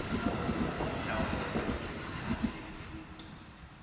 taolo ka dikhemikhale le mefuta